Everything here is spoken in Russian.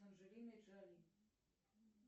с анджелиной джоли